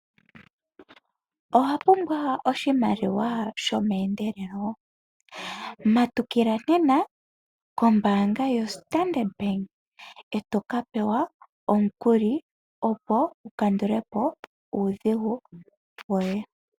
Owapumbwa oshimaliwa shomeendelelo? Tondokela kombaanga yoStandard Bank eteka pewa omukuli wukandulepo nuudhigu woye .